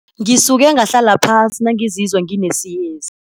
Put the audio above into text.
Ngisuke ngahlala phasi nangizizwa nginesiyezi.